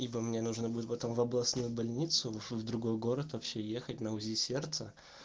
ибо мне нужно будет потом в областную больницу в другой город вообще ехать на узи сердца